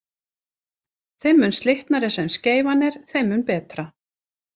Þeim mun slitnari sem skeifan er þeim mun betra.